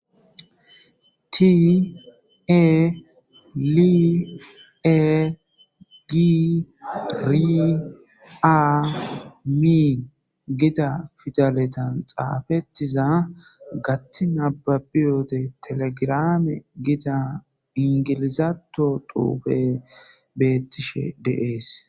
Tii e lie giriamii gida fidaletan xaafettiza gatti nababiyote telegrame gida ingilizaato tuufe bettishe deees.